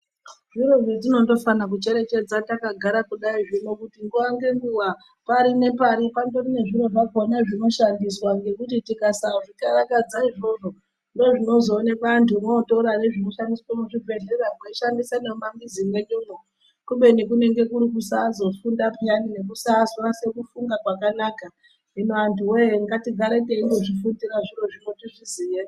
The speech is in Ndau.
Zviro zvetinondofana kucherechedza takagara kudai zvino kuti nguwa ngenguwa pari ngepari patori nezviro zvakona zvinoshandiswa ngekuti tikasazvikarakadza izvozvo ndozvizooneka antu motora nezvimoshandiswa muzvibhehlera mweishandisa nemumamizi mwedumo kubeni kunenge kuri kusazofunda kunyari nekusazonyatsofunga kwakanaka. lmi antu woye ngatigare teimbozvifundira zviro zvino tizviziye.